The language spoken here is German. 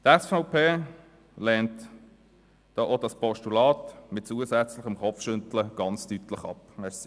Die SVP lehnt auch das Postulat mit zusätzlichem Kopfschütteln sehr deutlich ab.